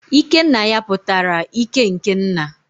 ikenaya pụtara ike n'ke nna